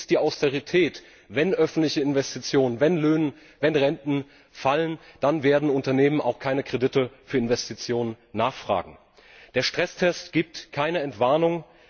Es ist die Austerität Wenn öffentliche Investitionen, wenn Löhne, wenn Renten fallen, dann werden Unternehmen auch keine Kredite für Investitionen nachfragen. Der Stresstest gibt keine Entwarnung.